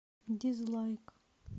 дизлайк